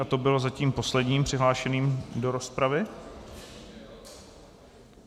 A to byl zatím poslední přihlášený do rozpravy.